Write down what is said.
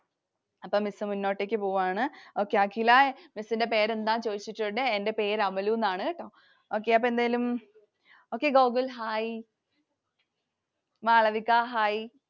അപ്പം Miss മുന്നോട്ടേക്കു പോവാണ്. Okay അഖില miss ൻറെ പേരെന്താണെന്നു ചോദിച്ചിട്ടുണ്ട്. എൻ്റെ പേര് അമലുന്നാണ് കേട്ടോ. Okay അപ്പൊ എന്തേലും. okay Gokul hi Malavika hi